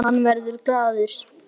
Hann verður glaður.